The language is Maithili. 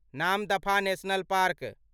Namdapha national park